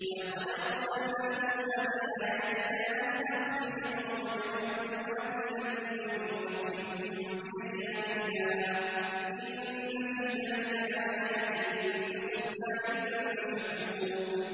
وَلَقَدْ أَرْسَلْنَا مُوسَىٰ بِآيَاتِنَا أَنْ أَخْرِجْ قَوْمَكَ مِنَ الظُّلُمَاتِ إِلَى النُّورِ وَذَكِّرْهُم بِأَيَّامِ اللَّهِ ۚ إِنَّ فِي ذَٰلِكَ لَآيَاتٍ لِّكُلِّ صَبَّارٍ شَكُورٍ